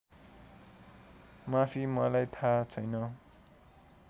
माफी मलाई थाहा छैन